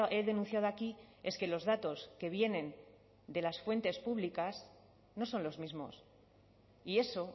he denunciado aquí es que los datos que vienen de las fuentes públicas no son los mismos y eso